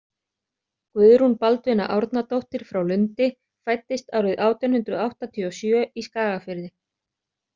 Guðrún Baldvina Árnadóttir frá Lundi fæddist árið átján hundrað áttatíu og sjö í Skagafirði.